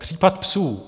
Případ "psů".